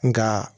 Nka